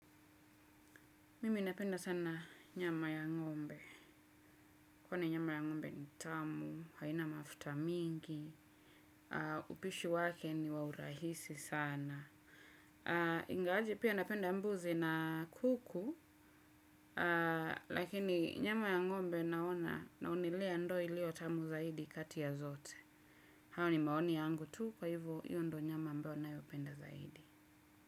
Mimi napenda sana nyama ya ng'ombe. Kwani nyama ya ng'ombe ni tamu, haina mafuta mingi, upishi wake ni wa urahisi sana. Ingawaje pia napenda mbuzi na kuku, lakini nyama ya ng'ombe naona naonelea ndo ilio tamu zaidi kati ya zote. Hayo ni maoni yangu tu kwa hivo hiyo ndo nyama ambayo ninayopenda zaidi.